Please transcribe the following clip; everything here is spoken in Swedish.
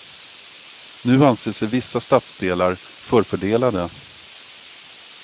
Nu anser sig vissa stadsdelar förfördelade.